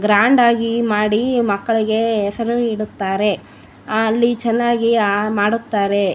Grand ಆಗಿ ಮಾಡಿ ಮಕ್ಕಳಿಗೆ ಹೆಸರು ಇಡುತ್ತಾರೆ ಅಲ್ಲಿ ಚೆನ್ನಾಗಿ ಮಾಡುತ್ತಾರೆ .